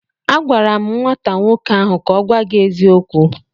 Agwara m nwata nwoke ahụ ka o gwa gi eziokwu!